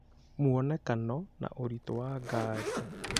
Muonekano na Ũritũ wa Ngarĩ